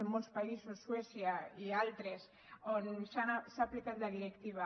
en molts països suècia i altres on s’ha aplicat la directiva